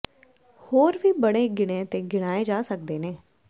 ਹੋਰ ਵੀ ਬੜੇ ਗਿਣੇ ਤੇ ਗਿਣਾਏ ਜਾ ਸਕਦੇ ਨੇ